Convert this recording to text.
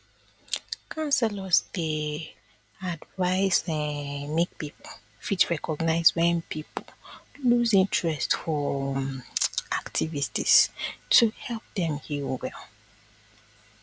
counselors dey um advice um make people fit recognize wen people loose interest for um activities to fit help dem heal well